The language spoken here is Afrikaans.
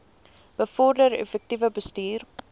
bevorder effektiewe bestuur